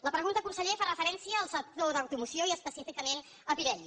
la pregunta conseller fa referència al sector d’automoció i específicament a pirelli